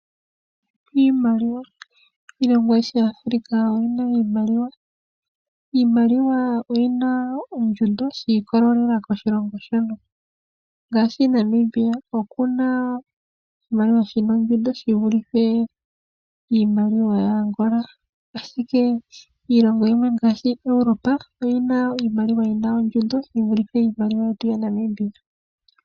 Iimaliwa. Iilongo ayishe yaAfrica oyi na iimaliwa. Iimaliwa oyi na ondjundo shi ikololela koshilongo yalo. Ngaashi Namibia oku na oshimaliwa shi na ondjundo shi vulithe iimaliwa yayAngola. Ashike iilongo yimwe ngaashi yaEurope oyi na iimaliwa yi na ondjundo yi vulithe iimaliwa yetu yaNamibia.